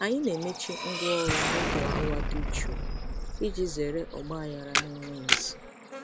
Anyị na-emechi ngwaọrụ n'oge awa dị jụụ iji zere ọgba aghara na-enweghị isi.